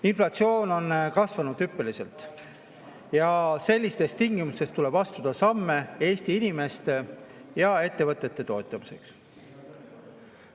Inflatsioon on kasvanud hüppeliselt ja sellistes tingimustes tuleb astuda samme Eesti inimeste ja ettevõtete toetamiseks.